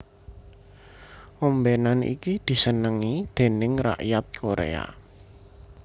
Ombenan iki disenengi déning rakyat Korea